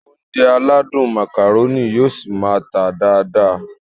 Ounjẹ aládùn Macaroni yóò ṣi máá tà dáadáa